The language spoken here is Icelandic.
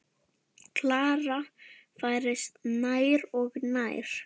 Klara færist nær og nær.